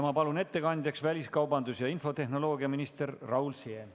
Ma palun ettekandjaks väliskaubandus- ja infotehnoloogiaminister Raul Siemi!